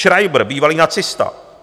Schreiber, bývalý nacista.